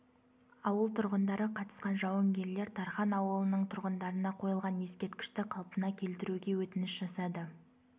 ауыл тұрғындары қатысқан жауынгерлер тархан ауылының тұрғындарына қойылған ескерткішті қалпына келтіруге өтініш жасады